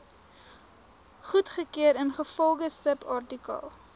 goedgekeur ingevolge subartikel